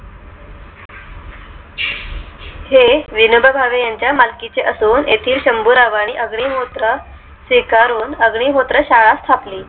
हे विनोबा भावे यांच्या मालकी चे असून येथील शंभू राव आणि अग्निहोत्र स्वीकारून अग् निहोत्र शाळा स्थाप ली